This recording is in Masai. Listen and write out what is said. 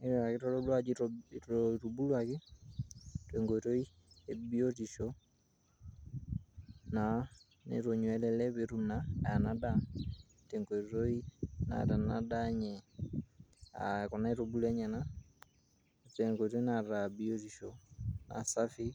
naa kitodolu ajo itubuluaki tenkoitoi ebiotisho naa netonyua ele lee petum naa ena daa tenkoitoi naata ena daa enye uh, kuna aitubulu enyenak tenkoitoi naata biotisho naa safi.